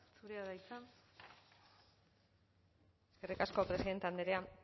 zurea da hitza eskerrik asko presidente andrea